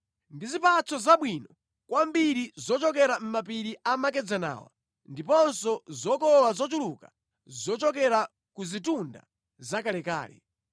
ndi zipatso zabwino kwambiri zochokera mʼmapiri amakedzanawa ndiponso zokolola zochuluka zochokera ku zitunda zakalekale;